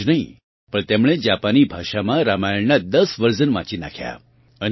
આટલું જ નહીં પણ તેમણે જાપાની ભાષામાં રામાયણનાં 10 વર્ઝન વાંચી નાખ્યા